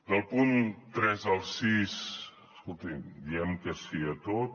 del punt tres al sis escolti’m diem que sí a tot